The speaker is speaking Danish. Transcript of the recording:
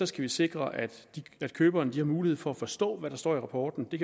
skal vi sikre at køberne har mulighed for at forstå hvad der står i rapporterne der